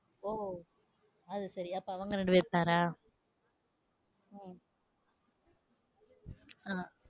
ஓ அது சரி, அப்ப அவங்க ரெண்டு pair ஆ. அஹ்